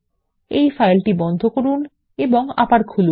এই ফাইলটি বন্ধ করুন এবং আবার খুলুন